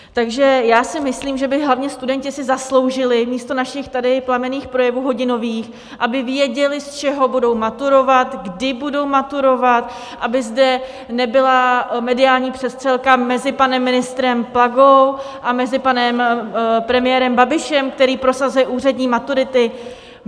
Takže já si myslím, že by hlavně studenti si zasloužili místo našich tady plamenných projevů hodinových, aby věděli, z čeho budou maturovat, kdy budou maturovat, aby zde nebyla mediální přestřelka mezi panem ministrem Plagou a mezi panem premiérem Babišem, který prosazuje úřední maturity.